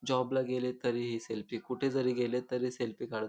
job गेले तरीही selfie कुठेजरी गेले तरी सेल्फी काढ--